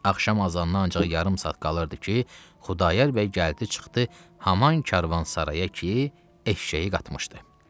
Axşam azanına ancaq yarım saat qalırdı ki, Xudayar bəy gəldi çıxdı Haman Karvansaraya ki, eşşəyi qatmışdı.